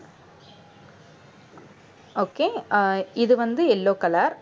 okay அஹ் இது வந்து yellow color